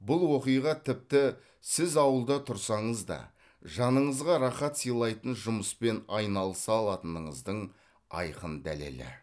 бұл оқиға тіпті сіз ауылда тұрсаңыз да жаныңызға рахат сыйлайтын жұмыспен айналыса алатыныңыздың айқын дәлелі